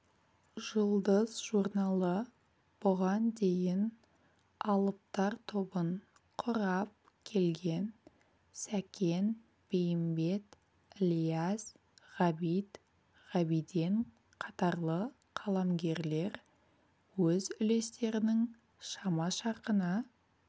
жұлдыз журналы бұған дейін алыптар тобын құрап келген сәкен бейімбет ілияс ғабит ғабиден қатарлы қаламгерлер өз үлестерінің шама-шарқына